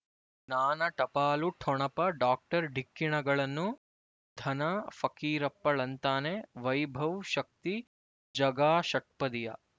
ಜ್ಞಾನ ಟಪಾಲು ಠೊಣಪ ಡಾಕ್ಟರ್ ಢಿಕ್ಕಿಣಗಳನು ಧನ ಫಕೀರಪ್ಪಳಂತಾನೆ ವೈಭವ್ ಶಕ್ತಿ ಝಗಾ ಷಟ್ಪದಿಯ